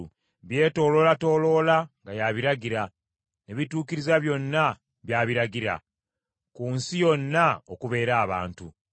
Byetooloolatooloola nga y’abiragira, ne bituukiriza byonna by’abiragira, ku nsi yonna okubeera abantu.